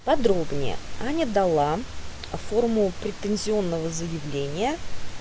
подробнее аня дала а форму предпенсионного заявления